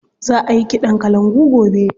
Za a yi ƙiɗan kalangu gobe.